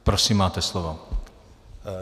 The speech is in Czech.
Prosím, máte slovo.